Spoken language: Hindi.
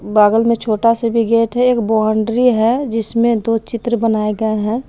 बगल में छोटा सा भी गेट है एक बाउंड्री है जिसमें दो चित्र बनाए गए हैं।